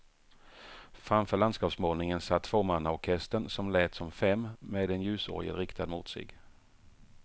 Framför landskapsmålningen satt tvåmannaorkestern, som lät som fem, med en ljusorgel riktad mot sig.